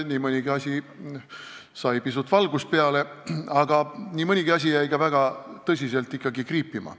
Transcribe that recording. Nii mõnigi asi sai pisut valgust peale, aga nii mõnigi asi jäi ikkagi väga tõsiselt kriipima.